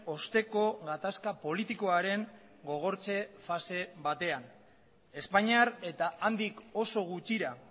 osteko gatazka politikoaren gogortze fase batean espainiar eta handik oso gutxira